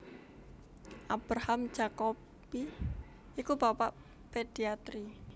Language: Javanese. Abraham Jacobi iku bapak pediatri